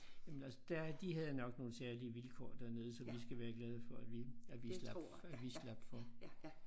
Jamen altså der de havde nok nogle særlige vilkår dernede som vi skal være glade for at vi at vi slap at vi slap for